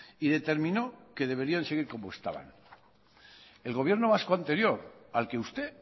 y determinó que deberían seguir como estaban el gobierno vasco anterior al que usted